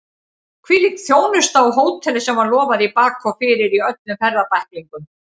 Hvílík þjónusta á hóteli sem var lofað í bak og fyrir í öllum ferðabæklingum!